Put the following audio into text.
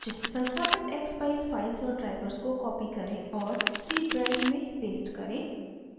संस्थापित expeyes files और drivers को copy करें और c drive में paste करें